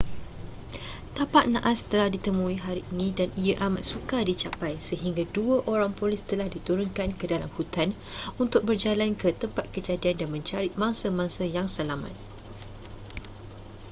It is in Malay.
tapak nahas telah ditemui hari ini dan ia amat sukar dicapai sehingga dua orang polis telah diturunkan ke dalam hutan untuk berjalan ke tempat kejadian dan mencari mangsa-mangsa yang selamat